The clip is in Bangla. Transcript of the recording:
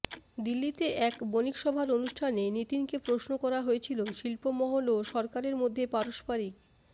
দিল্লিতে এক বণিকসভার অনুষ্ঠানে নিতিনকে প্রশ্ন করা হয়েছিল শিল্পমহল ও সরকারের মধ্যে পারস্পরিক